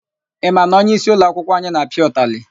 Ị ma na onyeisi ụloakwụkwọ anyị na-apịa ụtalị?